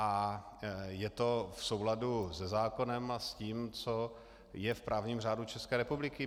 A je to v souladu se zákonem a s tím, co je v právním řádu České republiky.